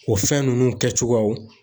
O fɛn nunnu kɛ cogoyaw